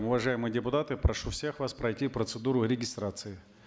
уважаемые депутаты прошу всех вас пройти процедуру регистрации